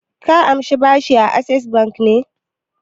Ka amshi bashi da Access Bank ne?